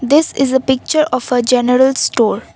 this is a picture of a general store.